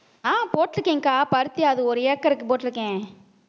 ஆஹ் போட்டு இருக்கேன்க்கா பருத்தி அது ஒரு ஏக்கருக்கு போட்டிருக்கேன்